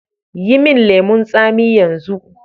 Yi min lemun tsami yanzu